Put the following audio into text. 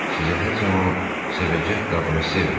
Sizi hər zaman sevəcək qadını sevin.